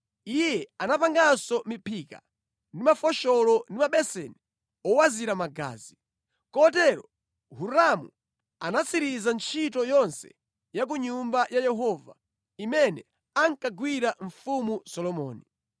Iye anapanganso miphika ndi mafosholo ndi mabeseni owazira magazi. Kotero Hiramu anatsiriza ntchito yonse ya ku Nyumba ya Yehova imene ankagwirira Mfumu Solomoni: